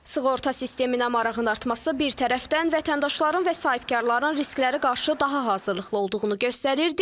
Sığorta sisteminə marağın artması bir tərəfdən vətəndaşların və sahibkarların risklərə qarşı daha hazırlıqlı olduğunu göstərir.